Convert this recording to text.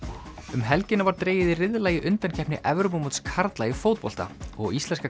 um helgina var dregið í riðla í undankeppni Evrópumóts karla í fótbolta og íslenska